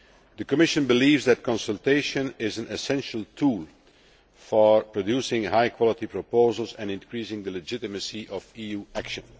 The Commission believes that consultation is an essential tool for producing high quality proposals and increasing the legitimacy of EU action.